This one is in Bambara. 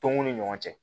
Tɔnw ni ɲɔgɔn cɛ